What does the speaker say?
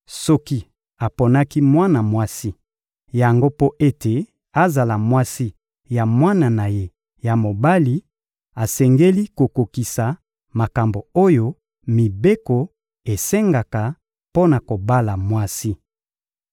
Soki aponaki mwana mwasi yango mpo ete azala mwasi ya mwana na ye ya mobali, asengeli kokokisa makambo oyo mibeko esengaka mpo na kobala mwasi.